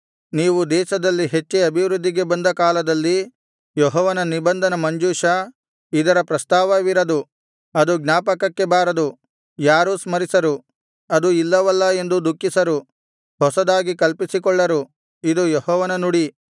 ನೀವು ದೇಶದಲ್ಲಿ ಹೆಚ್ಚಿ ಅಭಿವೃದ್ಧಿಗೆ ಬಂದ ಕಾಲದಲ್ಲಿ ಯೆಹೋವನ ನಿಬಂಧನ ಮಂಜೂಷ ಇದರ ಪ್ರಸ್ತಾವವಿರದು ಅದು ಜ್ಞಾಪಕಕ್ಕೆ ಬಾರದು ಯಾರೂ ಸ್ಮರಿಸರು ಅದು ಇಲ್ಲವಲ್ಲಾ ಎಂದು ದುಃಖಿಸರು ಹೊಸದಾಗಿ ಕಲ್ಪಿಸಿಕೊಳ್ಳರು ಇದು ಯೆಹೋವನ ನುಡಿ